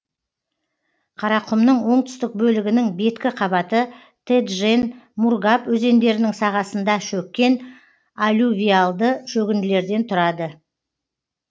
қарақұмның оңтүстік бөлігінің беткі қабаты теджен мургаб өзендерінің сағасында шөккен алювиальды шөгінділерден тұрады